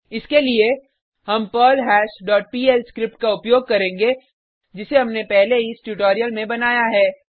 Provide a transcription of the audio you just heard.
इसके लिए हम पर्लहैश डॉट पीएल स्क्रिप्ट का उपयोग करेंगे जिसे हमने पहले ही इस ट्यूटोरियल में बनाया है